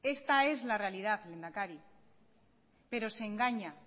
esta es la realidad lehendakari pero se engaña